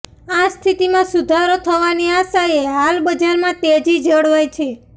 આ સ્થિતિમાં સુધારો થવાની આશાએ હાલ બજારમાં તેજી જળવાઈ છે